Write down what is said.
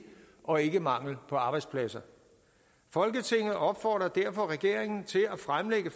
og ikke mangel på arbejdspladser folketinget opfordrer derfor regeringen til at fremsætte